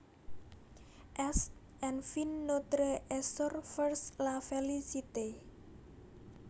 est enfin notre essor vers la félicité